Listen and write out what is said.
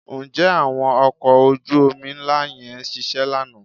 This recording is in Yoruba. Ǹjẹ́ àwọn ọkọ̀ ojú-omi ńlá yẹn ṣiṣẹ́ lánàá?